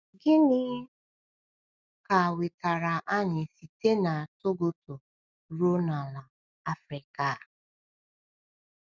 Gịnị ka wetara anyị site na Togoto ruo n’ala Afrịka a?